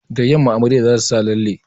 Da yamma amaryar za ta sa lalle